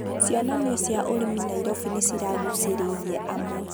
cionanĩo cia ũrĩmi Nairobi nĩ ciraguucĩrĩirie amwe.